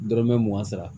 Dɔrɔmɛ mugan sara